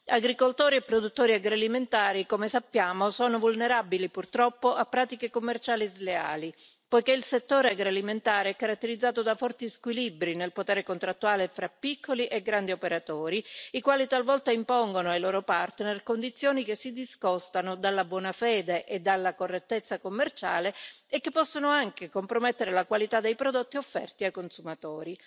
Agricoltori e produttori agroalimentari, come sappiamo, sono vulnerabili, purtroppo, a pratiche commerciali sleali poiché il settore agroalimentare è caratterizzato da forti squilibri nel potere contrattuale fra piccoli e grandi operatori, i quali talvolta impongono ai loro partner condizioni che si discostano dalla buona fede e dalla correttezza commerciale e che possono anche compromettere la qualità dei prodotti offerti ai consumatori.